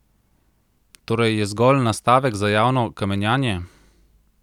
Torej je zgolj nastavek za javno kamenjanje?